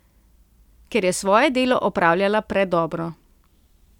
Ker je svoje delo opravljala predobro.